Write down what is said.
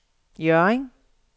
Hjørring